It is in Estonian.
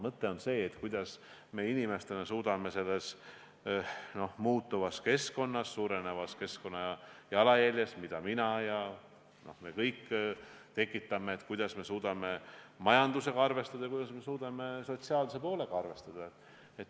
Mõte on selles, kuidas me inimestena suudame muutuvas keskkonnas suureneva keskkondliku jalajälje taustal, mida mina ja me kõik tekitame, majandusega arvestada ja kuidas me suudame sotsiaalse poolega arvestada.